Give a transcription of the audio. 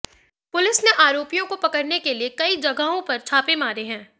police ने आरोपियों को पकड़ने के लिए कई जगहों पर छापे मारे हैं